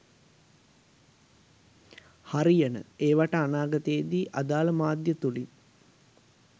"හරියන"ඒවාට අනාගතයේදී අදාල මාධ්‍ය තුලින් "